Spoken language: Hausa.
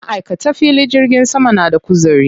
Maʼaikatan filin jirgin sama na da kuzari.